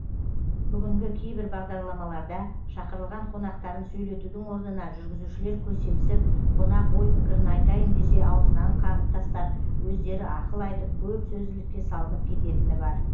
бүгінгі кейбір бағдарламаларда шақырылған қонақтарын сөйлетудің орнына жүргізушілер көсемсіп қонақ ой пікірін айтайын десе аузынан қағып тастап өздері ақыл айтып көп сөзділікке салынып кететіні бар